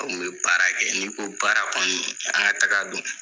N kɔni bɛ baara kɛ, n'i ko baara kɔni, an ka taaga don.